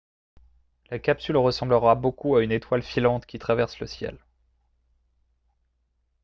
la capsule ressemblera beaucoup à une étoile filante qui traverse le ciel